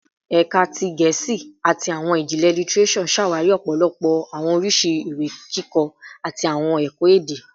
Ẹka ti Gẹẹsi ati Awọn Ijinlẹ Litireso ṣawari ọpọlọpọ awọn oriṣi iwe-kikọ ati awọn ẹkọ-ede